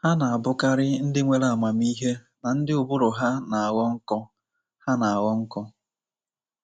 Ha na-abụkarị ndị nwere amamihe na ndị ụbụrụ ha na-aghọ nkọ. ha na-aghọ nkọ. ”